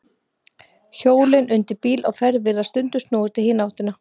Hjólin undir bíl á ferð virðast stundum snúast í hina áttina.